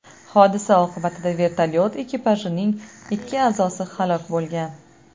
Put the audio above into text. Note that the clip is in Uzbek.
Hodisa oqibatida vertolyot ekipajining ikki a’zosi halok bo‘lgan.